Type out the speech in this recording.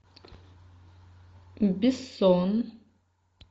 бессон